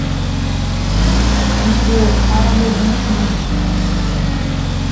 сбер а ю виз ми